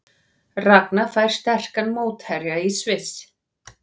Ragna fær sterkan mótherja í Sviss